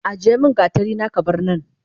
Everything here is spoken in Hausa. Ajiyemin gatarina kabarnan